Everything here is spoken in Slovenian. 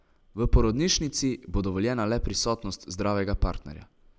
V porodnišnici bo dovoljena le prisotnost zdravega partnerja.